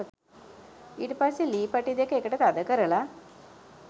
ඊට පස්සෙ ලී පටි දෙක එකට තද කරල